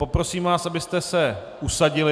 Poprosím vás, abyste se usadili.